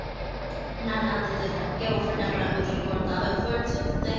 નાના હતા ત્યારે કેવા ફટાકડા ને બધું ફોડતા, હવે ફોડછો તું કઈ?